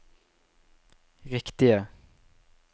riktige